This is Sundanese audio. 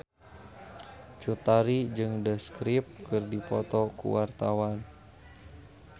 Cut Tari jeung The Script keur dipoto ku wartawan